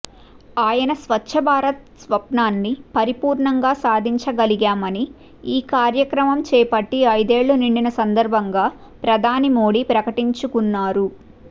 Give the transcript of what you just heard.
ఆయన స్వచ్ఛ భారత్ స్వప్నాన్ని పరిపూర్ణంగా సాధించగలిగామని ఈ కార్యక్రమం చేపట్టి ఐదేళ్లు నిండిన సందర్భంగా ప్రధాని మోడీ ప్రకటించుకున్నారు